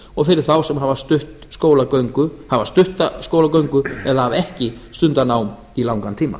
og fyrir þá sem hafa stutta skólagöngu eða hafa ekki stundað nám í langan tíma